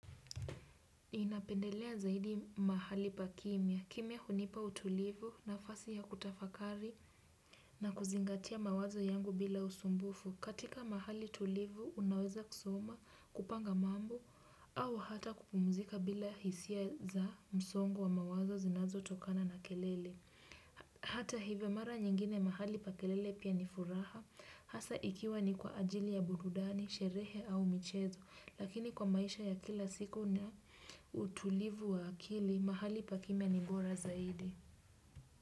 Ninapendelea zaidi mahali pa kimya. Kimya hunipa utulivu nafasi ya kutafakari na kuzingatia mawazo yangu bila usumbufu. Katika mahali tulivu unaweza kusoma kupanga mambo au hata kupumzika bila hisia za msongo wa mawazo zinazotokana na kelele. Hata hivyo mara nyingine mahali pa kelele pia ni furaha. Hasa ikiwa ni kwa ajili ya burudani, sherehe au michezo lakini kwa maisha ya kila siku na utulivu wa akili mahali pa kimya ni bora zaidi.